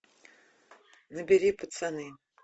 набери пацаны